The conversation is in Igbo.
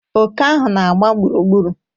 Oke ahụ na-agba gburugburu.